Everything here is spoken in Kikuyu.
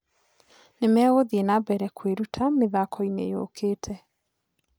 "Nimegũthiĩ na mbere kwĩruta mĩthakoinĩ yũkĩte"